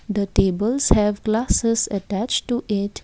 the tables have glasses attached to it.